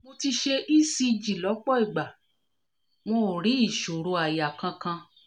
mo ti ṣe ecg lọ́pọ̀ ìgbà wọn ò rí ìṣòro àyà kankan